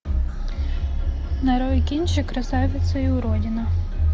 нарой кинчик красавица и уродина